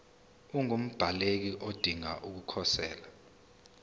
ungumbaleki odinge ukukhosela